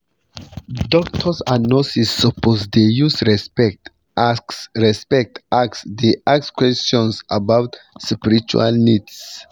doctors and nurses suppose dey use respect ask respect ask dey ask questions about spiritual needs